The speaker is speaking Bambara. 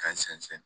K'a sɛnsɛn